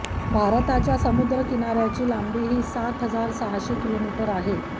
भारताच्या समुद्रकिनार्याची लांबी ही सात हजार सहाशे किलोमीटर आहे